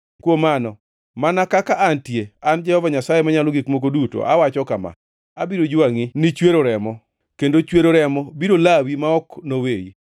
kuom mano, mana kaka antie, an Jehova Nyasaye Manyalo Gik Moko Duto awacho kama: Abiro jwangʼi ni chwero remo, kendo chwero remo biro lawi ma ok noweyi.